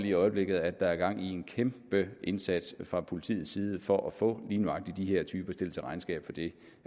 i øjeblikket at der er gang i en kæmpe indsats fra politiets side for at få lige nøjagtig de her typer stillet til regnskab for det